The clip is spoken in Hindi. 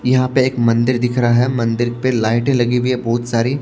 यहां पे एक मंदिर दिख रहा है मंदिर पे लाइटें लगी हुई है बहुत सारी।